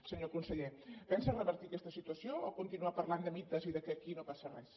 senyor conseller pensa revertir aquesta situació o continuar parlant de mites i que aquí no passa res